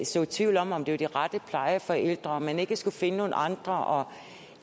så tvivl om om det var de rette plejeforældre om man ikke skulle finde nogle andre og